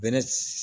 Bɛnɛ